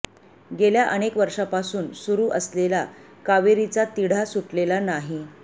गेल्या अनेक वर्षांपासून सुरू असलेला कावेरीचा तिढा सुटलेला नाही